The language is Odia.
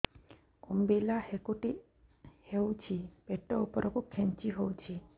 ଅମ୍ବିଳା ହେକୁଟୀ ହେଉଛି ପେଟ ଉପରକୁ ଖେଞ୍ଚି ହଉଚି